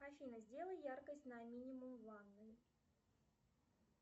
афина сделай яркость на минимум в ванной